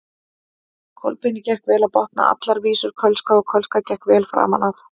Kolbeini gekk vel að botna allar vísur kölska og kölska gekk vel framan af.